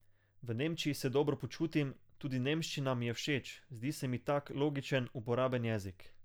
V Nemčiji se dobro počutim, tudi nemščina mi je všeč, zdi se mi tak logičen, uporaben jezik.